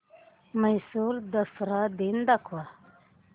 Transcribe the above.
म्हैसूर दसरा दिन दाखव